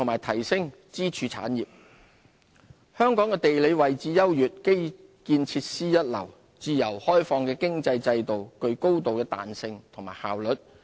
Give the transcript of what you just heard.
香港的地理位置優越、基建設施一流，自由開放的經濟制度具高度彈性和效率。